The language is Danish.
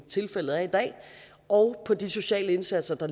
tilfældet er i dag og på de sociale indsatser